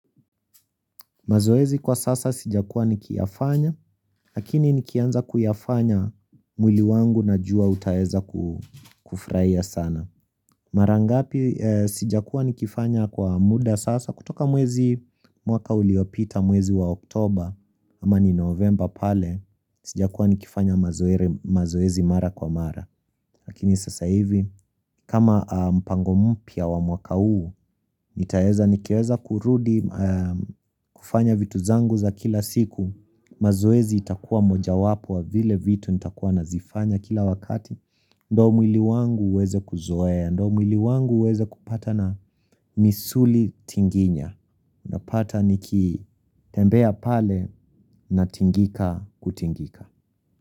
Mazoezi kwa sasa sijakua nikiyafanya, lakini nikianza kuyafanya mwili wangu na jua utaeza kufuraia sana. Marangapi sijakua nikifanya kwa muda sasa, kutoka mwezi mwaka uliopita mwezi wa oktober, ama ni novemba pale, sijakua nikifanya mazoezi mara kwa mara. Lakini sasa hivi, kama mpango mpya wa mwaka uu, nitaeza nikiweza kurudi kufanya vitu zangu za kila siku, mazoezi itakuwa moja wapo wa vile vitu nitakuwa nazifanya kila wakati, ndo mwili wangu uweze kuzoea, ndo mwili wangu uweze kupata na misuli tinginya, napata nikitembea pale na tingika kutingika.